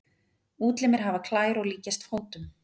Útlimirnir hafa klær og líkjast fótum.